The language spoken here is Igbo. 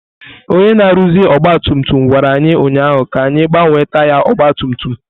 Onye na-arụzi ọgba tum tum gwara anyị ụnyaahụ ka anyị gbanwee taya ọgba tum tum.